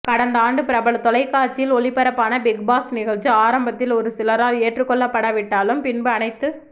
கடந்த ஆண்டு பிரபல தொலைக்காட்சியில் ஒளிபரப்பான பிக் பாஸ் நிகழ்ச்சி ஆரம்பத்தில் ஒரு சிலரால் ஏற்றுக்கொள்ளப்படா விட்டாலும் பின்பு அனைத்து